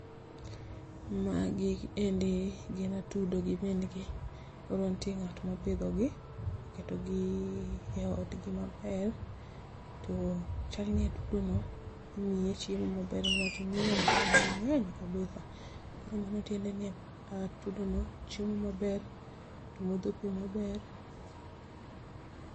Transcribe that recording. Magi endi gin atudo gi min gi koro nitie ngatma opidhogi oketogi e odgi maber, to chal ni atudono imiye chiemo maber niwach onyuolo nyithindo maber kabisa koro mano tiendeni atudono chiemo maber to modho pii maber